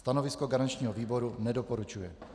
Stanovisko garančního výboru: nedoporučuje.